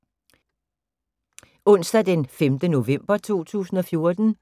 Onsdag d. 5. november 2014